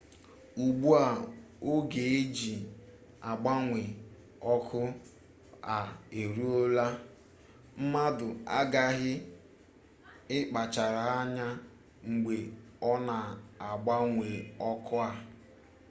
ugbu a oge e ji agbanwe ọkụ a eruola mmadụ aghaghị ịkpachara anya mgbe ọ na-agbanwe ọkụ a